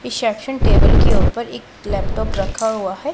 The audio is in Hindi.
इसेप्शन टेबल के ऊपर एक लैपटॉप रखा हुआ है।